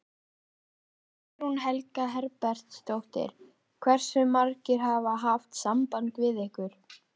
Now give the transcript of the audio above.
Guðný Helga Herbertsdóttir: Hversu margir hafa haft samband við ykkur?